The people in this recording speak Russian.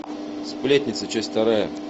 сплетница часть вторая